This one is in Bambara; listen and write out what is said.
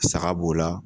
Saga b'o la